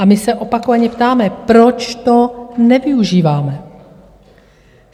A my se opakovaně ptáme, proč to nevyužíváme?